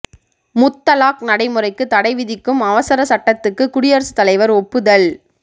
முத்தலாக் நடைமுறைக்கு தடை விதிக்கும் அவசர சட்டத்துக்கு குடியரசுத் தலைவர் ஒப்புதல்